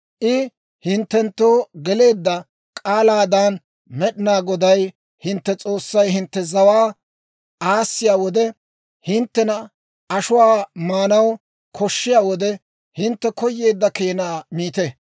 «I hinttenttoo geleedda k'aalaadan Med'inaa Goday hintte S'oossay hintte zawaa aassiya wode, hinttena ashuwaa maanaw koshshiyaa wode, hintte koyeedda keenaa miite.